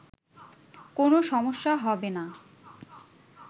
কোনো সমস্যা হবে না